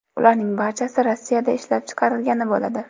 Ularning barchasi Rossiyada ishlab chiqarilgan bo‘ladi.